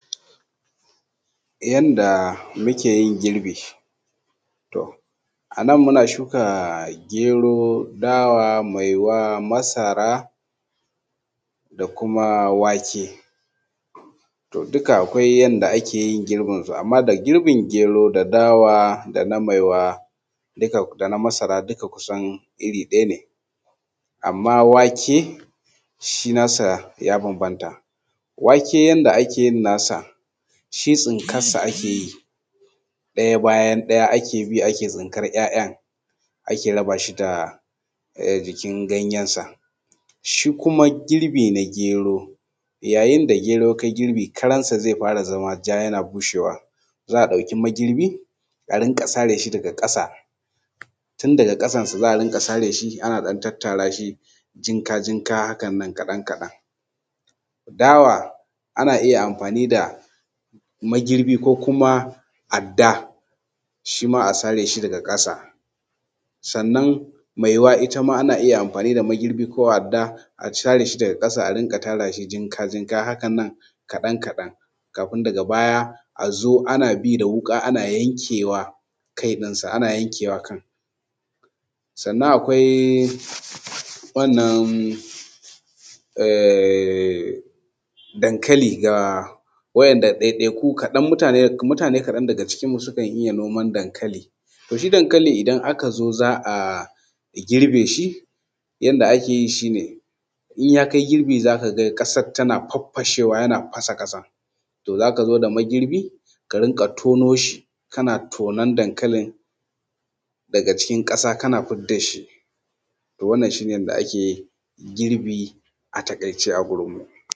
Yanda ake tace kwakwan manja ko kuma yanda ake tace manja a taƙaice. Idan aka tsinko shi daga bishiya za a wanke shi, idan aka wanke shi se a sa shi a cikin turmi. Idan aka saka shi a cikin turmi se a riƙa ɗiban ruwan zafi ana ɗan zuba masa, ana daka shi, ana ɗan zuba masa ruwan zafi kaɗan ana buga shi ana buga shi. Idan aka yi ya daku to se a ɗebo kwallon, ma’ana kwakwan ciki kenan, se a ware shi a gefe. Sannan wanda aka kirɓa shi kuma se a ɗeba rariya, se a samu rariya a dinga ɗiba ana tacewa. Dattin shi ma se a cire shi a gefe. Idan an cire shi a gefe se a bar shi ya ɗan ɗau wani lokaci. Idan ya ɗauki wani lokaci kaɗan haka to dattin ze koma ƙasa, manjan mai kyau kenan wanda za a yi amfani da shi. Shi kuma ze taso sama. Idan aka ɗebe manjan sama shi dattin na ƙasan ana abincin dabbobi da shi. Kwakwar ita kanta ana saida ita. Wannan shi ne yadda ake tacewa wato kwakwar yanda ake tace wan wato manja idan dai kaɗan ne. Idan kuma yana da yawa to za a samu keli a zuba shi a ciki. Idan aka zuba shi a cikin keli ana tattakawa, yara suna tattakawa ana daddakawa ana tattakawa idan yana da yawa kenan. Idan kuma kaɗan ne a sa a cikin turmi ake yi.